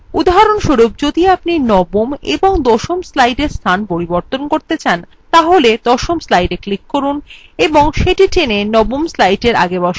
উদাহরণস্বরূপ যদি আপনি নবম এবং দশম slide স্থান পরিবর্তন করতে চান তাহলে দশম slideএ click করুন এবং সেটি টেনে নবম slidefor আগে বসান